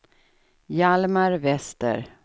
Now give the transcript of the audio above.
Hjalmar Wester